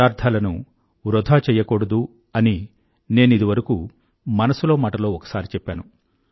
పదార్థాలను వృధా చెయ్యకూడదు అని నేనిదివరకూ మనసులో మాటలో ఒకసారి చెప్పాను